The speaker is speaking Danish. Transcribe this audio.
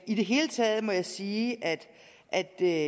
i det hele taget må jeg sige at at det